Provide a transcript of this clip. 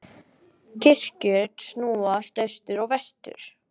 Kirkjur snúa austur og vestur.